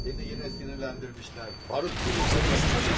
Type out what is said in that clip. Səni yenə sinirləndirmişlər, barut gibisin baxıyorum.